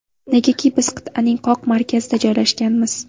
Negaki biz qit’aning qoq markazida joylashganmiz.